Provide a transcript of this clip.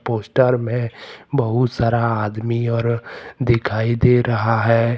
Poster में बहुत सारा आदमी और दिखाई दे रहा है।